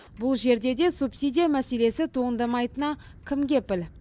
бұл жерде де субсидия мәселесі туындамайтынына кім кепіл